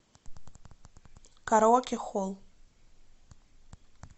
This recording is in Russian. караоке холл